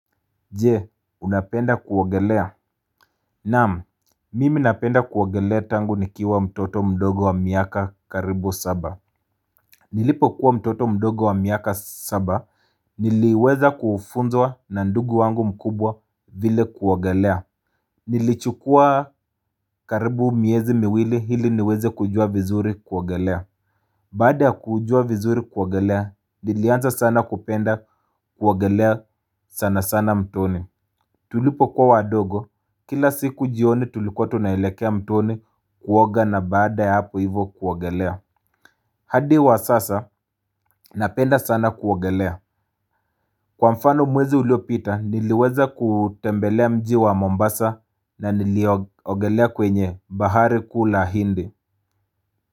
Je, unapenda kuogelea? Naam, mimi napenda kuogelea tangu nikiwa mtoto mdogo wa miaka karibu saba Nilipo kuwa mtoto mdogo wa miaka saba Niliweza kufunzwa na ndugu wangu mkubwa vile kuogelea Nilichukua karibu miezi miwili hili niweze kujua vizuri kuogelea Baada ya kujua vizuri kuogelea, nilianza sana kupenda kuogelea sana sana mtoni tulipo kuwa wadogo, kila siku jioni tulikuwa tunaelekea mtoni kuoga na baada ya hapo hivo kuogelea hadi wa sasa, napenda sana kuogelea. Kwa mfano mwezi uliopita, niliweza kutembelea mji wa Mombasa na nilio ogelea kwenye bahari kuu la hindi.